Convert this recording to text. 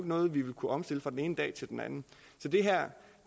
noget vi vil kunne omstille fra den ene dag til den anden så det her